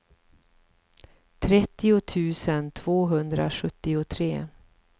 trettio tusen tvåhundrasjuttiotre